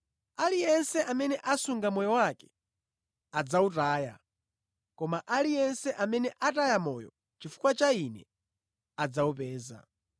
Aliyense amene asunga moyo wake adzawutaya koma aliyense amene ataya moyo chifukwa cha Ine adzawupeza.